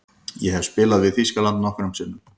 Ég hef spilað við Þýskaland nokkrum sinnum.